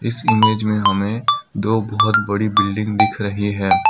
इस इमेज में हमें दो बहोत बड़ी बिल्डिंग दिख रही है।